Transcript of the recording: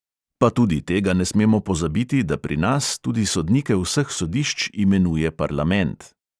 Pa tudi tega ne smemo pozabiti, da pri nas tudi sodnike vseh sodišč imenuje parlament.